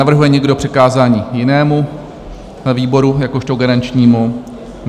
Navrhuje někdo přikázání jinému výboru jakožto garančnímu?